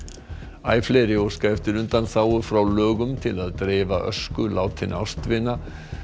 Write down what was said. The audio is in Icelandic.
æ fleiri óska eftir undanþágu frá lögum til að dreifa ösku látinna ástvina